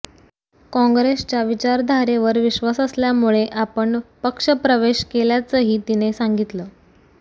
काँग्रेसच्या विचारधारेवर विश्वास असल्यामुळे आपण पक्षप्रवेश केल्याचंही तिने सांगितलं